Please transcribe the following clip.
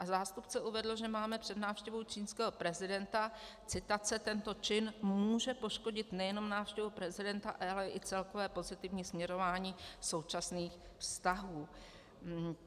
A zástupce uvedl, že máme před návštěvou čínského prezidenta, citace: "Tento čin může poškodit nejenom návštěvu prezident, ale i celkové pozitivní směrování současných vztahů."